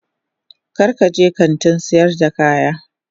Kar ka je kantin sayar da kayan